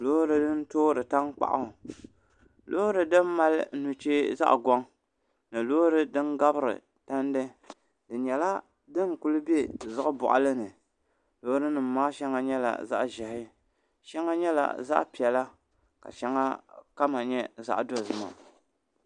loori din toori tankpaɣu loori din mali nuchee zaŋ goŋ ni loori din gabiri tandi di nyɛla din ku bɛ ziɣi boɣali ni loori nim maa shɛŋa nyɛla zaɣ ʒiɛhi shɛŋa nyɛla zaɣ piɛla ka shɛŋa kama nyɛ zaɣ dozima